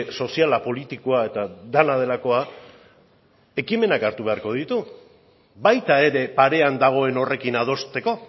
soziala politikoa eta dena delakoa ekimenak hartu beharko ditu baita ere parean dagoen horrekin adosteko